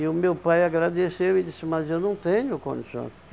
E o meu pai agradeceu e disse, mas eu não tenho condições.